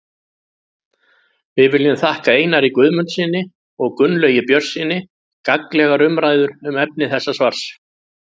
Við viljum þakka Einari Guðmundssyni og Gunnlaugi Björnssyni gagnlegar umræður um efni þessa svars.